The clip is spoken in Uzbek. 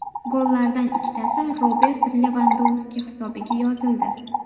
Gollardan ikkitasi Robert Levandovski hisobiga yozildi.